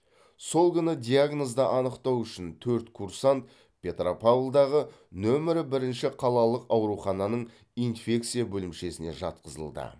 сол күні диагнозды анықтау үшін төрт курсант петропавлдағы нөмірі бірінші қалалық аурухананың инфекция бөлімшесіне жатқызылды